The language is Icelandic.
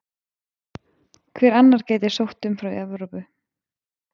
Hver annar gæti sótt um frá Evrópu?